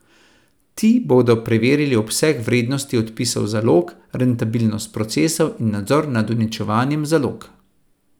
Ti bodo preverili obseg vrednosti odpisov zalog, rentabilnost procesov in nadzor nad uničevanjem zalog.